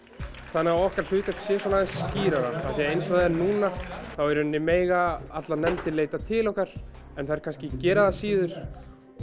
þannig að okkar hlutverk sé aðeins skýrara því eins og það er núna þá mega allar nefndir leita til okkar en þær kannski gera það síður